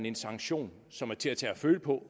en sanktion som er til at tage og føle på